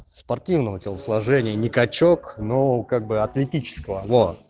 спортивного телосложения не качок но как бы атлетического во